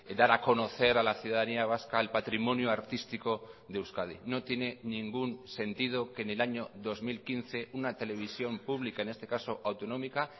dar a conocer a la ciudadanía vasca el patrimonio artístico de euskadi no tiene ningún sentido que en el año dos mil quince una televisión pública en este caso autonómica